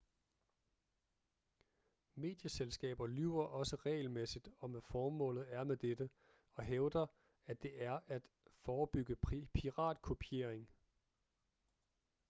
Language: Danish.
medieselskaber lyver også regelmæssigt om hvad formålet er med dette og hævder at det er at forebygge piratkopiering